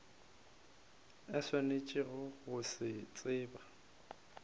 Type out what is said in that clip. a swanetšego go se tseba